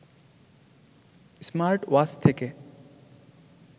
smartwatch থেকে